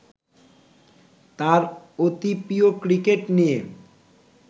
তাঁর অতিপ্রিয় ক্রিকেট নিয়ে